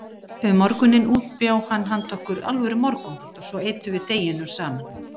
Um morguninn útbjó hann handa okkur alvöru morgunmat og svo eyddum við deginum saman.